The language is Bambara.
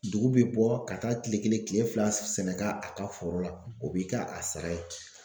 Dugu bi bɔ ka k'a kile kelen kile fila sɛnɛ ka a ka foro la , o b'i ka a sara ye.